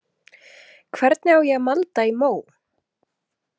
Hvernig á ég að malda í mó?